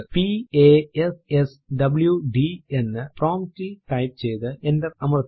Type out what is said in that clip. p a s s w D എന്ന് prompt ൽ type ചെയ്തു എന്റർ അമർത്തുക